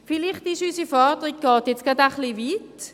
Vielleicht geht unsere Forderung etwas weit.